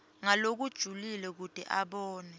ngalokujulile kute abone